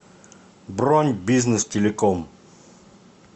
бронь бизнес телеком